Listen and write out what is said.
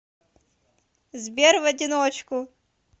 сбер в одиночку